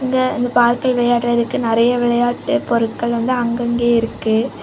இங்க இந்த பார்க்ல விளையாட்ரதுக்கு நெறைய விளையாட்டு பொருட்கள் வந்து அங்கங்கயே இருக்கு.